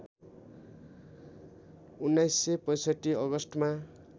१९६५ अगस्टमा